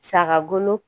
Sagagolo